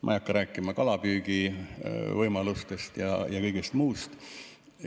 Ma ei hakka rääkima kalapüügivõimalustest ja kõigest muust.